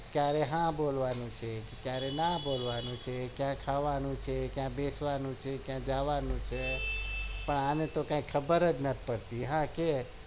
કયારે હા બોલવાનું છે કયારે ના બોલવાનું છે કયા ખાવાનું છે બેસવાનું છે કયા જવાનું છે પણ આને તો કઈ ખબર જ નત પડતી